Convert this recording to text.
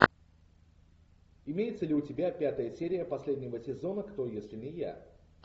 имеется ли у тебя пятая серия последнего сезона кто если не я